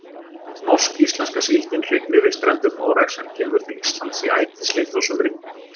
Norsk-íslenska síldin hrygnir við strendur Noregs en kemur til Íslands í ætisleit á sumrin.